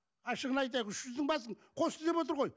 ашығын айтайық үш жүздің басын қосты деп отыр ғой